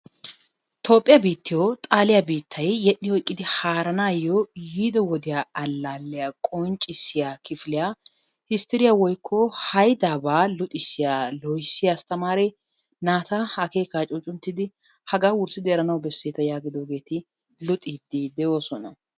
Toophphiyaa biittiyo xaalliyaa biittay yedhdhi oyiqqidi haarannayo yiiddo woddiyaa alalliyaa qonccissiyaa kifilyaa histiriyaa woykko hayddabba luxissiyaa lohissiyaa astamaare naatta akekka cuccunttiddi haggaa wurssidi eranawu besetta yagiidoggetti luxiddi doossona.